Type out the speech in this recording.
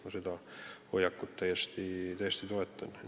Ma seda hoiakut täiesti toetan.